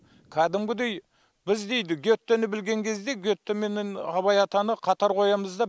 кәдімгідей біз дейді гетені білген кезде гете менен абай атаны қатар қоямыз да